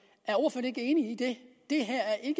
ikke enig i det det